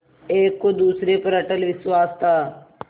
एक को दूसरे पर अटल विश्वास था